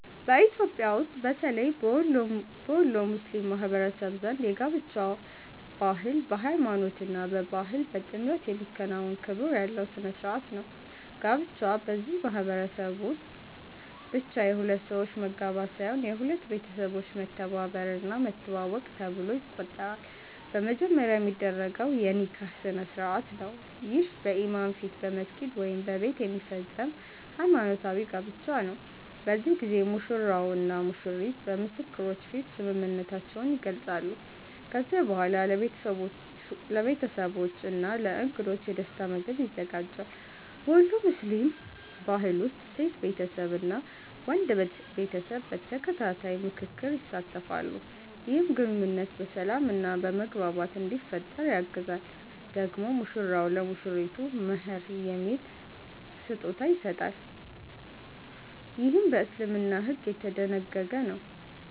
በኢትዮጵያ ውስጥ በተለይ በወሎ ሙስሊም ማህበረሰብ ዘንድ የጋብቻ ባህል በሃይማኖት እና በባህል በጥምረት የሚከናወን ክብር ያለው ሥነ ሥርዓት ነው። ጋብቻ በዚህ ማህበረሰብ ውስጥ ብቻ የሁለት ሰዎች መጋባት ሳይሆን የሁለት ቤተሰቦች መተባበር እና መተዋወቅ ነው ተብሎ ይቆጠራል። በመጀመሪያ የሚደረገው የ“ኒካህ” ስነ-ሥርዓት ነው። ይህ በኢማም ፊት በመስጊድ ወይም በቤት የሚፈጸም ሃይማኖታዊ ጋብቻ ነው። በዚህ ጊዜ ሙሽራው እና ሙሽሪቱ በምስክሮች ፊት ስምምነታቸውን ይገልጻሉ። ከዚያ በኋላ ለቤተሰቦች እና ለእንግዶች የደስታ ምግብ ይዘጋጃል። በወሎ ሙስሊም ባህል ውስጥ ሴት ቤተሰብ እና ወንድ ቤተሰብ በተከታታይ ምክክር ይሳተፋሉ፣ ይህም ግንኙነቱ በሰላም እና በመግባባት እንዲፈጠር ያግዛል። ደግሞ ሙሽራው ለሙሽሪቱ “መህር” የሚባል ስጦታ ይሰጣል፣ ይህም በእስልምና ሕግ የተደነገገ ነው።